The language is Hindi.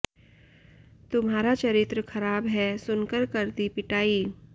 तुम्हारा चरित्र खराब है सुनकर कर दी पिटाई